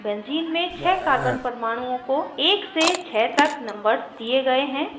benzene benzene में छः carbon परमाणुओं को 1 से 6 तक numbered दिए गए हैं